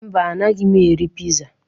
Mba, anaghị m eri piza.